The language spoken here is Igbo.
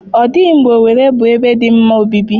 Ọ dịghị mgbe Owere bụ ebe dị mma obibi.